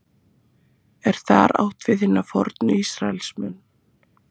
er þar átt við hina fornu ísraelsmenn